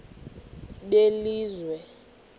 belizwe